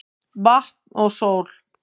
Vatn og sól